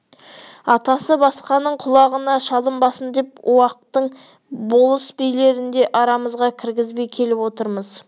атасы басқаның құлағына шалынбасын деп уақтық болыс билерін де арамызға кіргізбей келіп отырмыз